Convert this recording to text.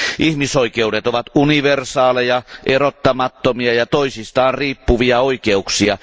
Ihmisoikeudet ovat universaaleja, erottamattomia ja toisistaan riippuvia oikeuksia.